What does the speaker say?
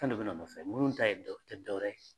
An dun be na u nɔfɛ, munnu ta ye tɛ dɔwɛrɛ ye.